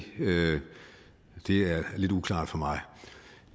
lidt uklart for mig